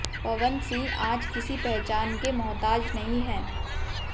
पवन सिंह आज किसी पहचान के मोहताज नहीं है